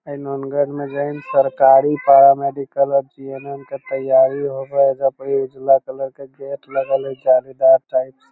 हाई नंगर में जे हई ना सरकारी पारा मेडिकल ऑफ़ जी.एम.एम. के तैयारी होवा हई | एजा पडी उजला कलर के गेट लगल हइ जालीदार टाइप से |